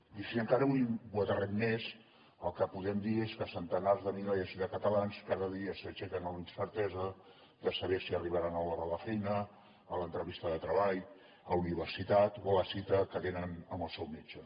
i si encara ho aterrem més el que podem dir és que a centenars de milers de catalans cada dia s’aixequen amb la incertesa de saber si arribaran a l’hora a la feina a l’entrevista de treball a la universitat o a la cita que tenen amb el seu metge